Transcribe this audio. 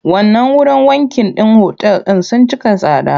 Wannan wurin wankin otal ɗin sun cika tsada.